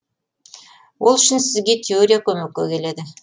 ол үшін сізге теория көмекке келеді